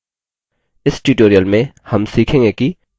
इस tutorial में हम सीखेंगे कि